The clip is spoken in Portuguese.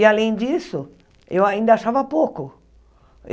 E, além disso, eu ainda achava pouco.